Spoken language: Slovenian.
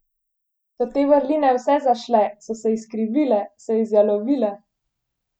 So te vrline vse zašle, so se izkrivile, se izjalovile?